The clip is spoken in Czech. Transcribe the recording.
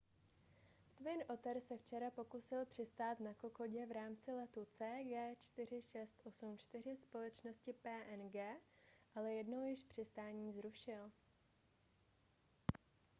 twin otter se včera pokusil přistát na kokodě v rámci letu cg4684 společnosti png ale jednou již přistání zrušil